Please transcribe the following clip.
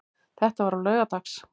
Þetta var á laugardags